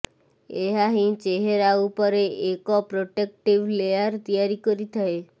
ଏହା ହିଁ ଚେହେରା ଉପରେ ଏକ ପ୍ରୋଟେକ୍ଟିଭ୍ ଲେୟାର୍ ତିଆରି କରିଥାଏ